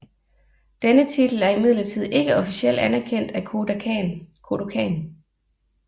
Denne titel er imidlertid ikke officielt anerkendt af Kodokan